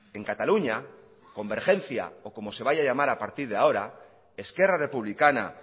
en cataluña convergencia o como se vaya a llamar a partir de ahora esquerra republicana